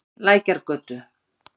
Lækjargötu